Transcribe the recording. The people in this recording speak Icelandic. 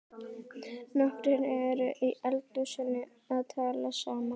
Nokkrir eru í eldhúsinu að tala saman.